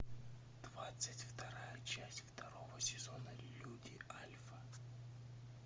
двадцать вторая часть второго сезона люди альфа